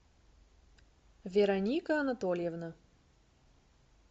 вероника анатольевна